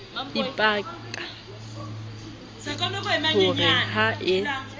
ipaka ho re ha e